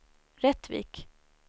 Rättvik